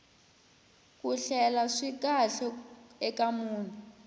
ku hleka swi kahle eka munhu